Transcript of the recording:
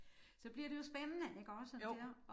Så bliver det jo spændende ikke også der